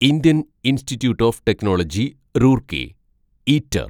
Indian Institute of Technology Roorkee (eater)